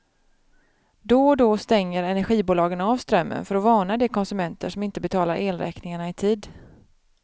Då och då stänger energibolagen av strömmen för att varna de konsumenter som inte betalar elräkningarna i tid.